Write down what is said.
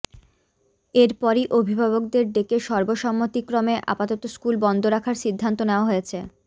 এরপরই অভিভাবকদের ডেকে সর্বসম্মতিক্রমে আপাতত স্কুল বন্ধ রাখার সিদ্ধান্ত নেওয়া হয়েছে